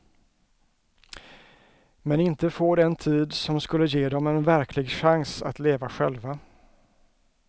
Men inte få den tid som skulle ge dem en verklig chans att leva själva.